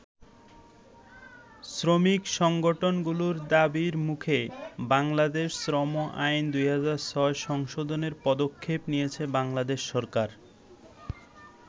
শ্রমিক সংগঠনগুলোর দাবির মুখে বাংলাদেশ শ্রম আইন ২০০৬ সংশোধনের পদক্ষেপ নিয়েছে বাংলাদেশ সরকার।